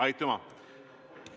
Aitüma!